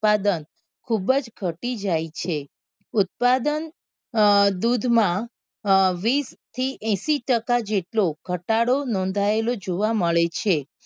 ઉત્પાદન ખુબ જ ઘટી જાય છે ઉત્પાદન દૂધ માં અ વીસ થી એંસી ટકા જેટલો ઘટાડો નોંધાયેલો જોવા મળે છે.